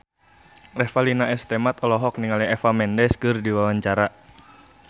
Revalina S. Temat olohok ningali Eva Mendes keur diwawancara